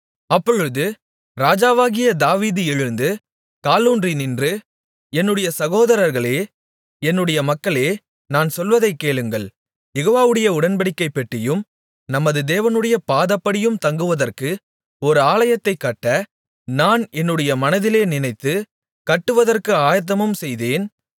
அப்பொழுது ராஜாவாகிய தாவீது எழுந்து காலூன்றி நின்று என்னுடைய சகோதரர்களே என்னுடைய மக்களே நான் சொல்வதைக் கேளுங்கள் யெகோவாவுடைய உடன்படிக்கைப் பெட்டியும் நமது தேவனுடைய பாதப்படியும் தங்குவதற்கு ஒரு ஆலயத்தைக் கட்ட நான் என்னுடைய மனதிலே நினைத்து கட்டுவதற்கு ஆயத்தமும் செய்தேன்